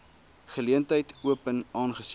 geleentheid open aangesien